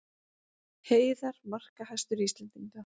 Heiðar markahæstur Íslendinga